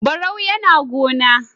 Barau yAna gona